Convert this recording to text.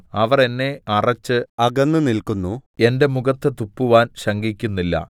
അവർ എന്നെ അറച്ച് അകന്നുനില്ക്കുന്നു എന്റെ മുഖത്ത് തുപ്പുവാൻ ശങ്കിക്കുന്നില്ല